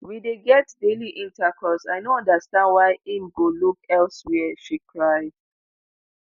we dey get daily intercourse i no understand why im go look elsewia she cry